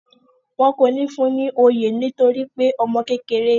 Wọn kò ní fún ni oyè torípé ọmọ kékeré ni.